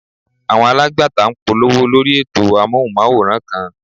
Àwọn alágbàtà ń polówó lórí ètò Amóhùnmáwòrán kan.